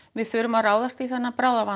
við þurfum að ráðast í þennan bráðavanda